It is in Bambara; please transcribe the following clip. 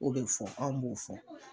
O be fɔ anw b'o fɔ